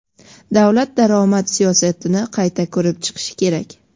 "Davlat daromad siyosatini qayta ko‘rib chiqishi kerak".